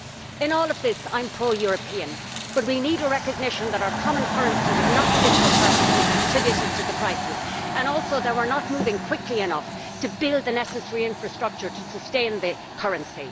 In all of this I am pro European, but we need recognition of the fact that our common currency was not fit for purpose and contributed to the crisis, and also of the fact that we are not moving quickly enough to build the necessary infrastructure to sustain the currency.